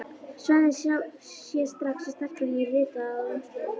Svenni sér strax að stelpa hefur ritað á umslagið.